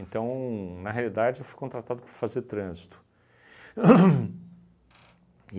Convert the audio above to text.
na realidade, eu fui contratado para fazer trânsito. Hum.